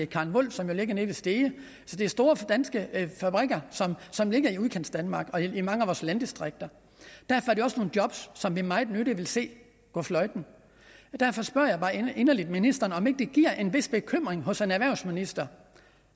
karen volf som jo ligger nede ved stege så det er store danske fabrikker som ligger i udkantsdanmark og i mange af vores landdistrikter og det også nogle job som vi meget nødig vil se gå fløjten derfor spørger jeg bare inderligt ministeren om ikke det giver en vis bekymring hos erhvervsministeren